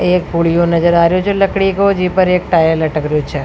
एक पुडियो नज़र आ रेहो लकड़ी को जेपे एक टायर लटक रेहो छ।